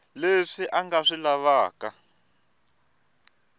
leswi a nga swi lavaka